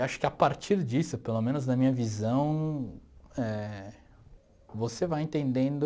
E acho que a partir disso, pelo menos na minha visão eh, você vai entendendo